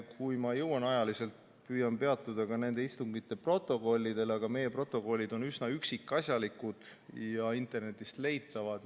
Kui ma ajaliselt jõuan, siis ma püüan peatuda ka nende istungite protokollidel, aga meie protokollid on üsna üksikasjalikud ja internetist leitavad.